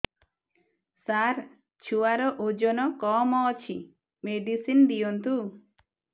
ସାର ଛୁଆର ଓଜନ କମ ଅଛି ମେଡିସିନ ଦିଅନ୍ତୁ